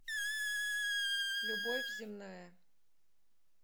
любовь земная